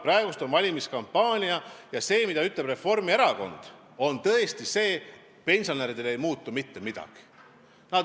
Praegu on valimiskampaania ja see, mida ütleb Reformierakond, on tõesti see, et pensionäridel ei muutu mitte midagi.